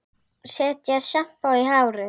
Setja sjampó í hárið?